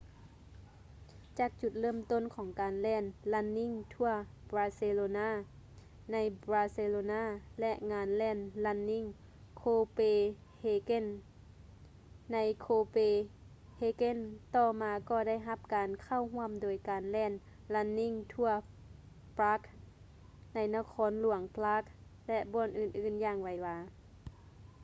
ຈາກຈຸດເລີ່ມຕົ້ນຂອງການແລ່ນ ຣັນນິ່ງ ທົວ ບາເຊໂລນ່າ running tours barcelona ໃນ ບາເຊໂລນ່າ ແລະ ງານແລ່ນ ຣັນນິ່ງ ໂຄເປເຮເກັນ running copenhagen ໃນ ໂຄເປເຮເກັນ ຕໍ່ມາກໍໄດ້ຮັບການເຂົ້າຮ່ວມໂດຍການແລ່ນ ຣັນນິ່ງ ທົວ ປຼາກ running tours prague ໃນ ນະຄອນຫຼວງປຼາກ ແລະ ບ່ອນອື່ນໆ ຢ່າງໄວວາ